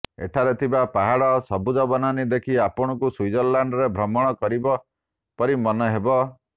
ଏଠାରେ ଥିବା ପାହାଡ଼ ସବୁଜ ବନାନୀ ଦେଖି ଆପଣଙ୍କୁ ସୁଇଜରଲ୍ୟାଣ୍ଡରେ ଭ୍ରମଣ କରିବା ପରି ମନେ ହେବ